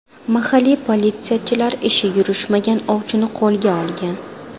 Mahalliy politsiyachilar ishi yurishmagan ovchini qo‘lgan olgan.